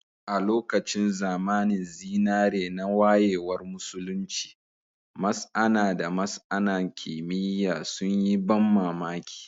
A lokacin zamanin zinare na wayewar Musulunci, masAna da masAna kimiyya sun yi ban mamaki